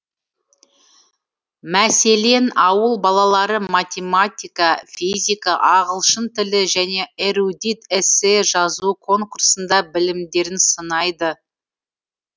мәселен ауыл балалары математика физика ағылшын тілі және эрудит эссе жазу конкурсында білімдерін сынайды